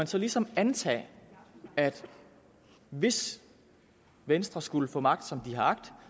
så ligesom antage at hvis venstre skulle få magt som de har agt